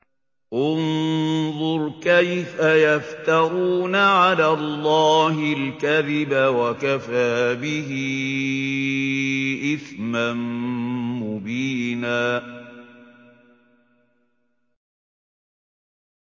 انظُرْ كَيْفَ يَفْتَرُونَ عَلَى اللَّهِ الْكَذِبَ ۖ وَكَفَىٰ بِهِ إِثْمًا مُّبِينًا